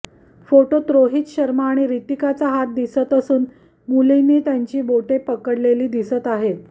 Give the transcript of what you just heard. फोटोत रोहित शर्मा आणि रितिकाचा हात दिसत असून मुलीने त्यांची बोटे पकडलेली दिसत आहे